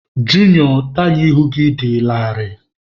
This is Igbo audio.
Junio, taya ihu gị dị larịị.